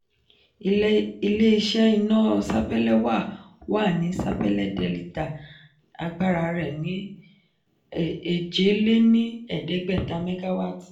ilé-iṣẹ́ iná sapélé wà wà ní sapélé delita agbára rẹ́ ni eje-le-ni-eedegbeta megawaati.